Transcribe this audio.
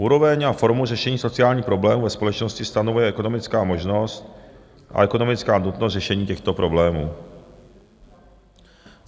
Úroveň a formu řešení sociálních problémů ve společnosti stanovuje ekonomická možnost a ekonomická nutnost řešení těchto problémů.